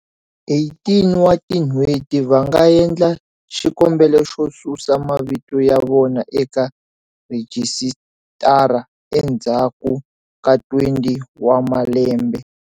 18 wa tin'hweti va nga endla xikombelo xo susa mavito ya vona eka rhijisitara endzhaku ka 20 wa malembe.